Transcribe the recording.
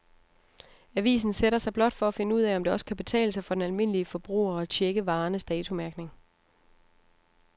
Avisen sætter sig blot for at finde ud af, om det også kan betale sig for den almindelige forbruger at checke varernes datomærkning.